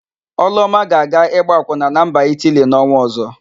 Ọlụọma ga-aga ịgba akwụna na mba Itili n'ọnwa ọ̀zọ́.